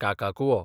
काकाकुवो